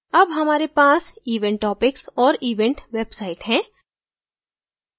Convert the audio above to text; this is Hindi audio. अब हमारे पास event topics और event website है